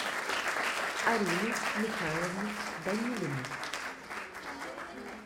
арины михайловны данилиной